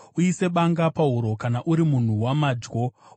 uise banga pahuro kana uri munhu wamadyo.